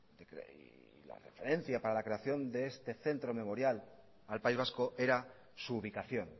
referencia para la creación de este centro memorial al país vasco era su ubicación